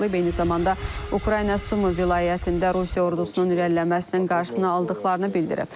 Eyni zamanda Ukrayna Sumı vilayətində Rusiya ordusunun irəliləməsinin qarşısını aldıqlarını bildirib.